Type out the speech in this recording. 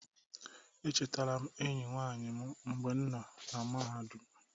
Echetara m enyi nwanyị m mgbe m nọ na mahadum.